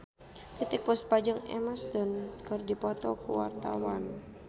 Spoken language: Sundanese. Titiek Puspa jeung Emma Stone keur dipoto ku wartawan